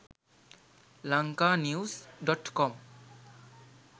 lanka news.com